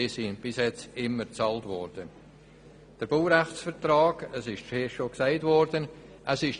Diese Beiträge wurden bis anhin immer bezahlt.